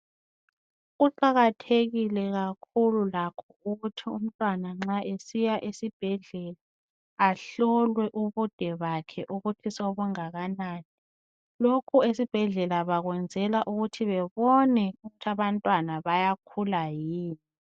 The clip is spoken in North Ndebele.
Kuqakathekile kakhulu lakho ukuthi umntwana nxa esiya esibhedlela ahlolwe ukuthi ubude bakhesobungalanani lokhu esibhedlela bakwenzela ukuthi bebone ukuthi abantwana bayakhula yini